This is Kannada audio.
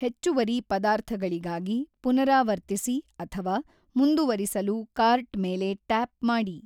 ಹೆಚ್ಚುವರಿ ಪದಾರ್ಥಗಳಿಗಾಗಿ ಪುನರಾವರ್ತಿಸಿ ಅಥವಾ ಮುಂದುವರಿಸಲು ಕಾರ್ಟ್ ಮೇಲೆ ಟ್ಯಾಪ್ ಮಾಡಿ.